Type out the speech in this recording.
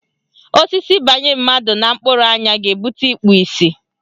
Osisi banye mmadụ na mkpụrụ anya ga-ebute ikpu isi.